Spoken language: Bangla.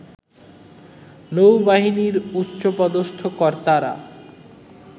নৌবাহিনীর উচ্চপদস্থ কর্তারা